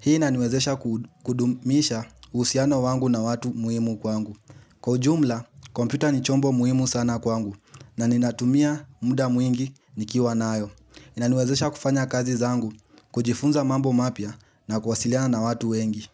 Hii inaniwezesha kudumisha uhusiano wangu na watu muhimu kwangu. Kwa ujumla, kompyuta ni chombo muhimu sana kwangu na ninatumia muda mwingi nikiwa nayo. Inaniwezesha kufanya kazi zangu, kujifunza mambo mapya na kuwasiliana na watu wengi.